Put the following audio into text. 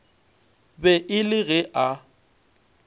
be e le ge a